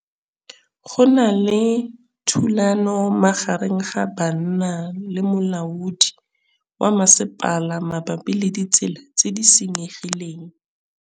Go na le thulanô magareng ga banna le molaodi wa masepala mabapi le ditsela tse di senyegileng.